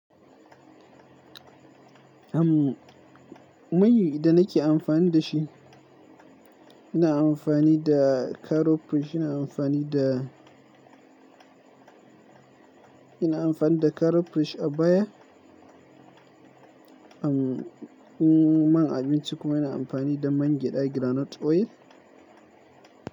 Am" mai da nake amfani da shi, ina amfani da carrot fresh, ina amfani da, ina amfani da carrot fresh a baya. Ammm, man abinci kuma ina amfani da man gyaɗa, groundnut oil.